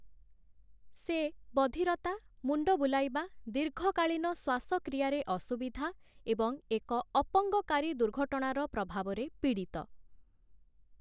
ସେ ବଧିରତା, ମୁଣ୍ଡ ବୁଲାଇବା, ଦୀର୍ଘକାଳୀନ ଶ୍ୱାସକ୍ରିୟାରେ ଅସୁବିଧା ଏବଂ ଏକ ଅପଙ୍ଗକାରୀ ଦୁର୍ଘଟଣାର ପ୍ରଭାବରେ ପୀଡ଼ିତ ।